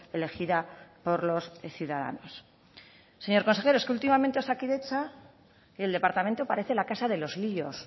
elegida por los ciudadanos señor consejero es que últimamente en osakidetza y el departamento parece la casa de los líos